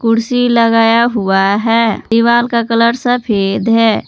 कुर्सी लगाया हुआ है दीवाल का कलर सफेद है।